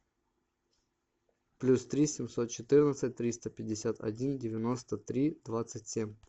плюс три семьсот четырнадцать триста пятьдесят один девяносто три двадцать семь